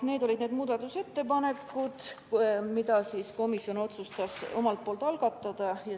Need olid muudatusettepanekud, mida komisjon otsustas algatada.